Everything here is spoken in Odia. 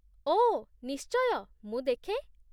ଓଃ, ନିଶ୍ଚୟ, ମୁଁ ଦେଖେ!